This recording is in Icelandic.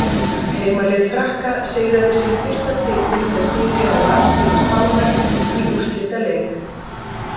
Heimalið Frakka sigraði sinn fyrsta titil með sigri á landsliði Spánar í úrslitaleik.